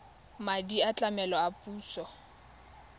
madi a tlamelo a puso